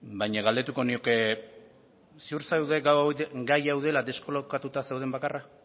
baina galdetuko nioke ziur zaude gai hau dela deskolokatuta zauden bakarra